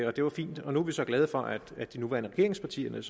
og det var fint og nu er vi så glade for at de nuværende regeringspartier